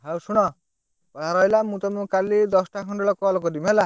ଆଉ ଶୁଣ। ଆଉ ରଇଲା, ମୁଁ ତମକୁ କାଲି ଦଶଟା ଖଣ୍ଡେ ବେଳକୁ call କରିବି ହେଲା।